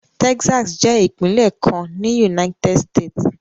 Texas jẹ́ ìpínlẹ̀ kan ní United States.